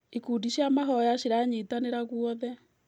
Ikundi cia mahoya ciranyitanĩra guothe.